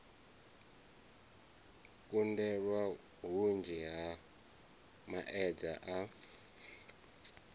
kundelwa hunzhi ha maedza a